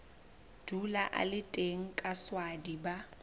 dula a le teng kaswadi ba